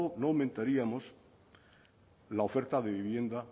no aumentaríamos la oferta de vivienda